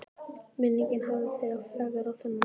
Minningin hafði þegar fegrað þennan tíma.